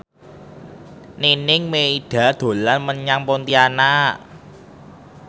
Nining Meida dolan menyang Pontianak